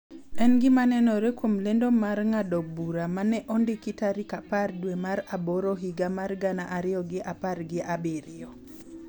En gima nenore kuom lendo mar ng�ado bura ma ne ondiki tarik apar dwe mar aboro higa mar gana ariyo gi apar gi abiriyo,